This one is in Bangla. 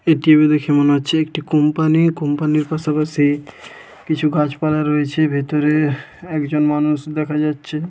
এটিকে দেখে মনে হচ্ছে একটি কোম্পানি কোম্পানি -র পাশাপাশি কিছু গাছপালা রয়েছে ভেতরে একজন মানুষ দেখা যাচ্ছে।